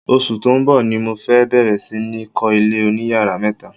Oṣù tó ń bọ̀ ni mo fẹ́ bẹ̀rẹ̀ sí ní kọ́ ilé oníyàrá mẹ́ta.